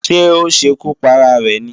Ṣé ó ṣekú para rẹ̀ ni?